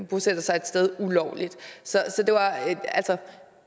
bosætter sig et sted så